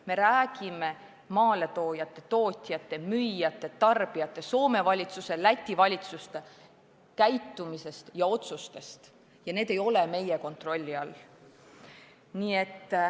Me räägime maaletoojate, tootjate, müüjate, tarbijate, Soome valitsuse, Läti valitsuse käitumisest ja otsustest ning need ei ole meie kontrolli all.